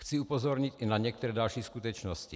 Chci upozornit i na některé další skutečnosti.